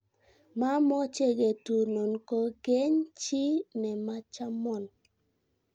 mamoche ketunon kokeny chi ne machamon.